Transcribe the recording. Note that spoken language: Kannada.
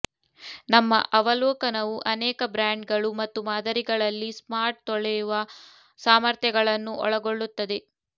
ನಮ್ಮ ಅವಲೋಕನವು ಅನೇಕ ಬ್ರ್ಯಾಂಡ್ಗಳು ಮತ್ತು ಮಾದರಿಗಳಲ್ಲಿ ಸ್ಮಾರ್ಟ್ ತೊಳೆಯುವ ಸಾಮರ್ಥ್ಯಗಳನ್ನು ಒಳಗೊಳ್ಳುತ್ತದೆ